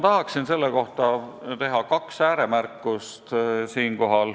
Tahaksin selle kohta teha kaks ääremärkust.